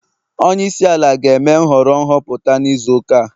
Onye isi ala ga-eme nhọrọ nhọpụta n'izu ụka a